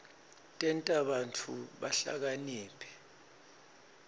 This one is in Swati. tenta bantfu bahlakaniphe